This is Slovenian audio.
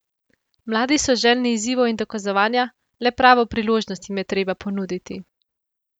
Mladi so željni izzivov in dokazovanja, le pravo priložnost jim je treba ponuditi.